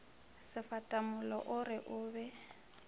sefatamollo o re o be